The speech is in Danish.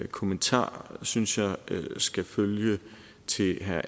kommentar synes jeg skal følge til herre